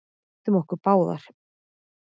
Við misstum okkur báðir.